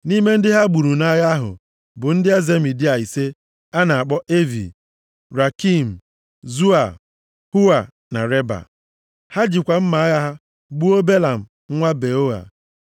Nʼime ndị ha gburu nʼagha ahụ bụ ndị eze Midia ise a na-akpọ Evi, Rekem, Zua, Hua na Reba. Ha jikwa mma agha gbuo Belam nwa Beoa.